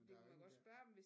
Men der er jo ingen der